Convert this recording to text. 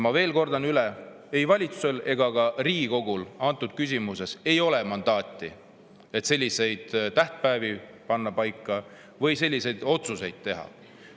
Ma kordan üle: ei valitsusel ega ka Riigikogul ei ole antud küsimuses mandaati, et selliseid tähtpäevi paika panna või selliseid otsuseid teha.